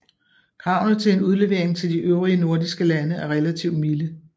Kravene til en udlevering til de øvrige nordiske lande er relativt milde